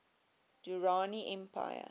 durrani empire